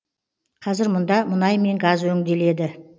қазір мұнда мұнай мен газ өңделеді